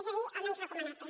és a dir el menys recomanable